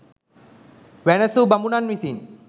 වැනැසූ බමුණන් විසින්